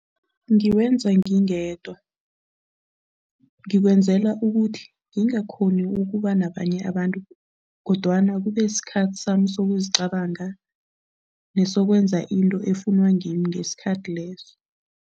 Ngiwenza ngingedwa. Ngikwenzela ukuthi ngingakghoni ukuba nabanye abantu kodwana kubesikhathi sami sokuzicabanga nesokwenza into efunwa ngimi ngesikhathi leso.